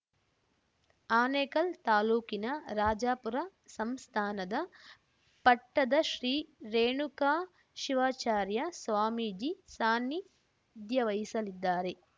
ಆನೇಕಲ್‌ ತಾಲೂಕಿನ ರಾಜಾಪುರ ಸಂಸ್ಥಾನದ ಪಟ್ಟದ ಶ್ರೀ ರೇಣುಕಾ ಶಿವಾಚಾರ್ಯ ಸ್ವಾಮೀಜಿ ಸಾನ್ನಿಧ್ಯವಹಿಸಲಿದ್ದಾರೆ